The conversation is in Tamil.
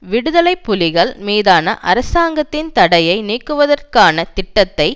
விடுதலை புலிகள் மீதான அரசாங்கத்தின் தடையை நீக்குவதற்கான திட்டத்தை